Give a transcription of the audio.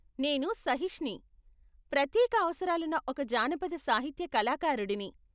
నేను సహిష్ని, ప్రత్యేక అవసరాలున్న ఒక జానపద సాహిత్య కళాకారుడిని.